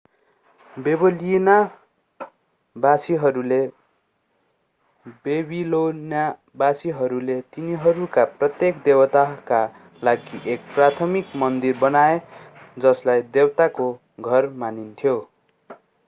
बेबिलोनवासीहरूले तिनीहरूका प्रत्येक देवताका लागि एक प्राथमिक मन्दिर बनाए जसलाई देवताको घर मानिन्थ्यो